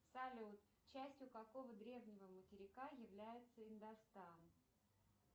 салют частью какого древнего материка является индостан